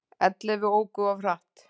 Ellefu óku of hratt